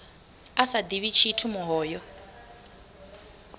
a sa ḓivhi tshithu muhoyo